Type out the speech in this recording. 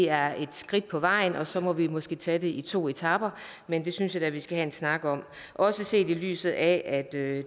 er et skridt på vejen og så må vi måske tage det i to etaper men det synes jeg da vi skal have en snak om også set i lyset af at det